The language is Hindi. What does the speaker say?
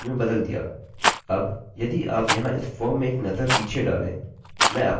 अबयदि आप यहाँ इस फॉर्म में एक नज़र पीछे डालेंमैं आपको कोड फिर से दिखाऊँगा